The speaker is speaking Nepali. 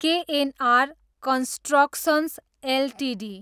KNR constructions Ltd